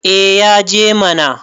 eh ya je mana